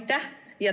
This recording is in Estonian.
Aitäh!